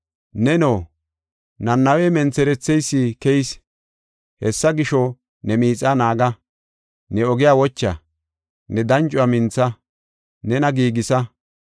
Neno, Nanawe, mentheretheysi keyis! Hessa gisho, ne miixa naaga; ne ogiya wocha; ne dancuwa mintha; nena giigisa.